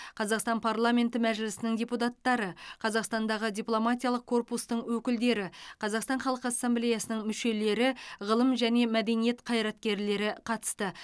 қазақстан парламенті мәжілісінің депутаттары қазақстандағы дипломатиялық корпустың өкілдері қазақстан халқы ассамблеясының мүшелері ғылым және мәдениет қайраткерлері қатысты